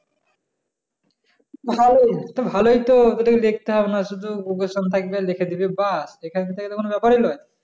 ভালোই তো ভালোই তো তোকে দেখতে হবে না শুধু auction থাকবে লেখে দিবি বা এখান থেকে ব্যাপারি লয়